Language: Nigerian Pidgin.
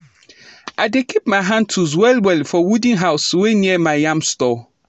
i dey keep my hand tools well well for wooden house wey near my yam store